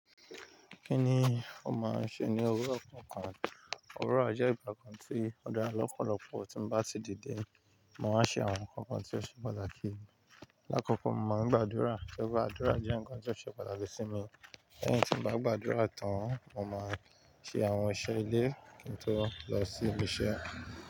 Kíni ó máa ń ṣe ní owurọ̀ kànkàn? Owurọ̀ jé ìgbà kan ti ó dá lọ́pọ̀lọpọ̀ tí n bá ti dìde, máa wá ṣe àwọn nǹkan kan tí ó ṣe pàtàkì. Láàkọ́kọ́ mo máa ń gbàdúrà. Tó rí pé àdúrà jẹ́ nǹkan tí ó ṣe pàtàkì sí mi. Lẹ́yìn tí n bá gbàdúrà tán, mo máa ṣe àwọn iṣẹ́ ilé kí n tó lọ sí ibi iṣẹ́.